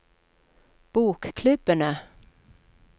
bokklubbene